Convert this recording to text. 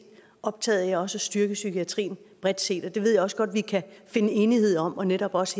optaget af også at styrke psykiatrien bredt set det ved jeg også godt vi kan finde enighed om og netop også